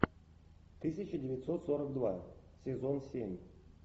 тысяча девятьсот сорок два сезон семь